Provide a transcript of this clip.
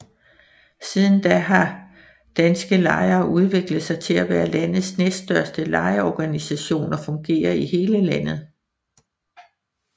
Siden da har Danske Lejere udviklet sig til at være landets næststørste lejerorganisation og fungerer i hele landet